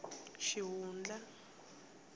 xihundla